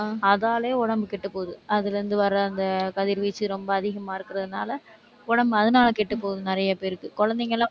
அதாலேயே உடம்பு கெட்டுப்போகுது. அதிலிருந்து வர்ற அந்த கதிர்வீச்சு ரொம்ப அதிகமா இருக்கிறதுனால உடம்பு அதனால கெட்டுப்போகுது நிறைய பேருக்கு. குழந்தைங்கெல்லாம்